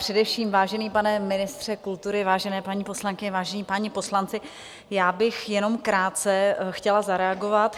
Především, vážený pane ministře kultury, vážené paní poslankyně, vážení páni poslanci, já bych jenom krátce chtěla zareagovat.